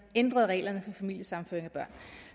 ændrede reglerne for familiesammenføring af børn